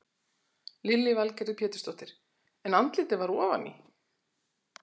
Lillý Valgerður Pétursdóttir: En andlitið var ofan í?